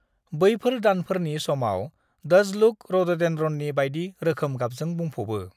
बैफोर दानफोरनि समाव डज़ुलुक रड'डेन्ड्रननि बायदि रोखोम गाबजों बुंफ'बो।